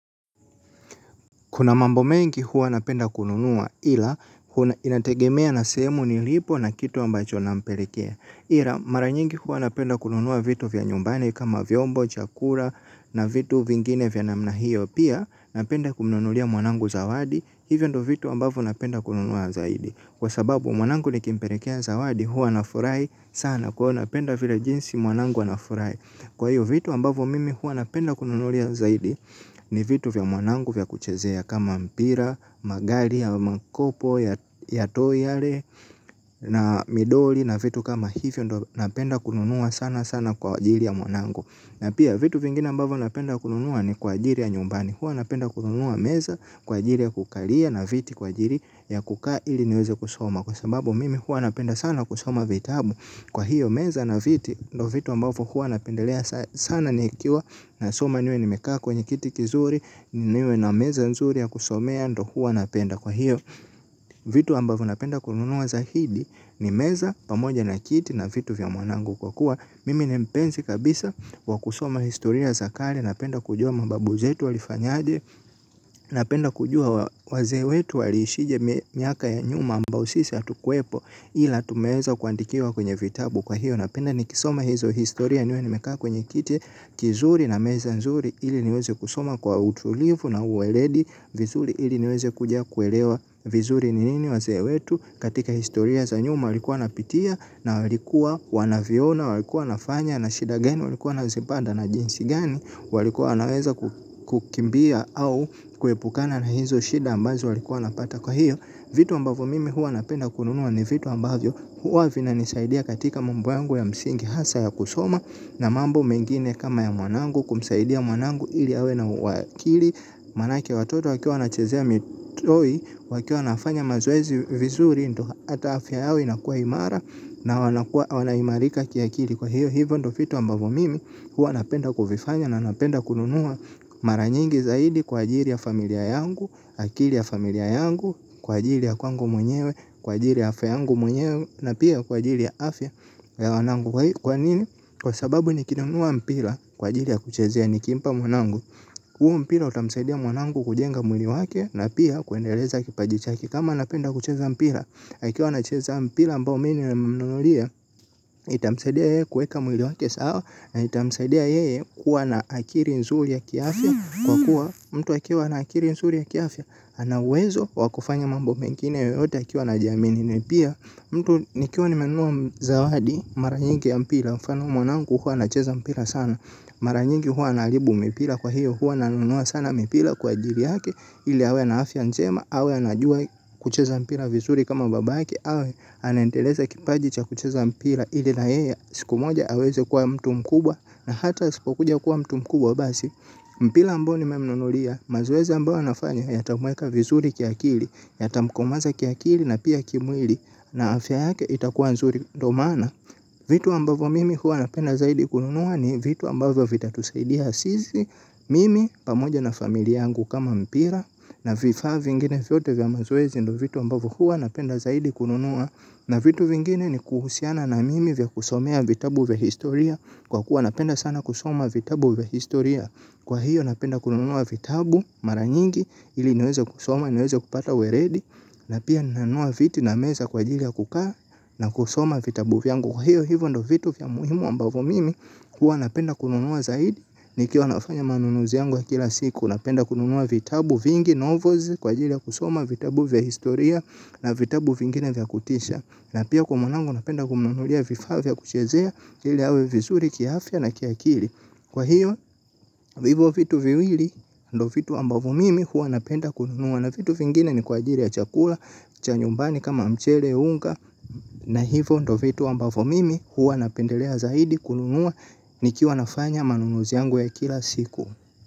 Kuna mambo mengi huwa napenda kununua ila inategemea na sehemu nilipo na kitu ambacho nampelekea. Ila mara nyingi huwa napenda kununua vitu vya nyumbani kama vyombo, chakula na vitu vingine vya namna hiyo. Pia napenda kumnunulia mwanangu zawadi hivyo ndio vitu ambavyo napenda kununua zaidi. Kwa sababu mwanangu nikimpelekea zawadi huwa anafurahi sana kwaivo napenda vile jinsi mwanangu anafurahi. Kwa hiyo vitu ambavyo mimi huwa napenda kununulia zaidi ni vitu vya mwanangu vya kuchezea kama mpira, magari ya makopo ya toy yale na midoli na vitu kama hivyo napenda kununua sana sana kwa ajili ya mwanangu. Na pia vitu vingine ambavyo napenda kununua ni kwa ajili ya nyumbani. Hua napenda kununua meza kwa ajili ya kukalia na viti kwa ajili ya kukaa ili niweze kusoma. Kwa sababu mimi huwa napenda sana kusoma vitabu. Kwa hiyo meza na viti ndo vitu ambavyo huwa napendelea sana nikiwa nasoma niwe nimekaa kwenye kiti kizuri niwe na meza nzuri ya kusomea ndo huwa napenda. Kwa hiyo vitu ambavyo napenda kununua zaidi ni meza pamoja na kiti na vitu vya mwanangu kwa kuwa mimi ni mpenzi kabisa wa kusoma historia za kale napenda kujua mababu zetu walifanyaje napenda kujua wazee wetu waliishije miaka ya nyuma ambao sisi hatukuwepo ila tumeweza kuandikiwa kwenye vitabu kwa hiyo napenda nikisoma hizo historia niwe nimekaa kwenye kiti kizuri na meza nzuri ili niweze kusoma kwa utulivu na uweledi vizuri ili niweze kuja kuelewa vizuri ni nini wazee wetu katika historia za nyuma walikuwa wanapitia. Na walikua wanavyoona, walikua wanafanya, na shida gani, walikua wanazipanda na jinsi gani. Walikua wanaweza ku kukimbia au kuepukana na hizo shida ambazo walikua wanapata kwa hiyo. Vitu ambavyo mimi huwa napenda kununua ni vitu ambavyo huwa vinanisaidia katika mambo yangu ya msingi hasa ya kusoma. Na mambo mengine kama ya mwanangu kumsaidia mwanangu ili awe na akili. Manake watoto wakiwa wanachezea mitoi wakiwa wanafanya mazoezi vizuri ndio ata afya yao inakua imara na wanakuwa wanaimarika kiakili kwa hiyo hivyo ndio vitu ambavyo mimi huwa napenda kuvifanya na napenda kununua mara nyingi zaidi kwa ajili ya familia yangu. Akili ya familia yangu, kwa ajili ya kwangu mwenyewe, kwa ajili ya afya yangu mwenyewe na pia kwa ajili ya afya ya wanangu kwa nini? Kwa sababu nikinunua mpira kwa ajili ya kuchezea nikimpa mwanangu huo mpira utamsaidia mwanangu kujenga mwili wake na pia kuendeleza kipaji chake kama anapenda kucheza mpira. Akiwa anacheza mpira ambao mi nimemnunulia. Itamsaidia yeye kuweka mwili wake sawa. Na itamsadia yeye kuwa na akili nzuri ya kiafya. Kwa kuwa mtu akiwa na akili nzuri ya kiafya. Ana uwezo wa kufanya mambo mengine yoyote akiwa na jamii na ni pia mtu nikiwa nimenua zawadi mara nyingi ya mpira mfano mwanangu huwa anacheza mpira sana. Mara nyingi huwa anaharibu mipira kwa hiyo huwa nanunua sana mipira kwa ajili yake ili awe na afya njema, awe anajua kucheza mpira vizuri kama babake, awe anaendeleza kipaji cha kucheza mpira ili na yeye, siku moja aweze kuwa mtu mkubwa na hata asipokuja kuwa mtu mkubwa basi. Mpira ambao nimemnunulia, mazoezi ambao anafanya, yatamweka vizuri kiakili, yatamkomaza kiakili na pia kimwili na afya yake itakuwa nzuri ndo maana. Vitu ambavyo mimi huwa napenda zaidi kununua ni vitu ambavyo vitatusaidia sisi mimi pamoja na familia yangu kama mpira na vifaa vingine vyote vya mazoezi ndio vitu ambavyo huwa napenda zaidi kununua na vitu vingine ni kuhusiana na mimi vya kusomea vitabu vya historia kwa kuwa napenda sana kusoma vitabu vya historia kwa hiyo napenda kununua vitabu mara nyingi ili niweze kusoma niweze kupata weledi na pia nanua viti na meza kwa ajili ya kukaa na kusoma vitabu vyangu. Kwa hiyo hivyo ndo vitu vya muhimu ambavyo mimi, huwa napenda kununua zaidi nikiwa nafanya manunuzi yangu ya kila siku. Napenda kununua vitabu vingi, novels, kwa ajili ya kusoma, vitabu vya historia, na vitabu vingine vya kutisha. Na pia kwa mwanangu, napenda kumnunulia vifaa vya kuchezea, ili awe vizuri, kiafya na kiakili. Kwa hiyo, hivyo vitu viwili, ndo vitu ambavyo mimi, huwa napenda kununua. Na vitu vingine ni kwa ajili ya chakula, cha nyumbani kama mchele, unga, na hivo ndo vitu ambavo mimi huwa napendelea zaidi kununua nikiwa nafanya manunuzi yangu ya kila siku.